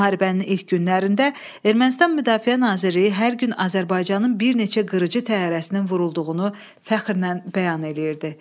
Müharibənin ilk günlərində Ermənistan Müdafiə Nazirliyi hər gün Azərbaycanın bir neçə qırıcı təyyarəsinin vurulduğunu fəxrlə bəyan eləyirdi.